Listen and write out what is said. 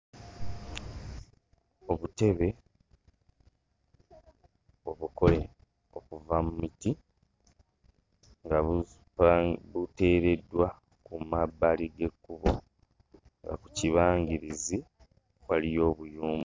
Obutebe obukole okuva mu miti nga bupa buteereddwa ku mabbali g'ekkubo nga ku kibangirizi waliyo obuyumba.